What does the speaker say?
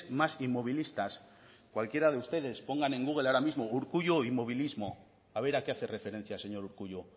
más inmovilistas cualquiera de ustedes pongan en google ahora mismo urkullu inmovilismo a ver a qué hace referencia señor urkullu